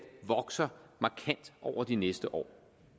vokser markant over de næste år